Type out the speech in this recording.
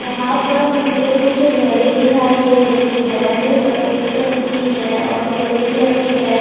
यहां पर मुझे कुछ घरे दिखाई दे रही है जो सफेद कलर की है और ग्रे कलर की है।